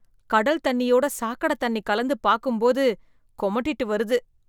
கடல் தண்ணியோட சாக்கடத் தண்ணி கலந்து பாக்கும் போது கொமட்டிட்டு வருது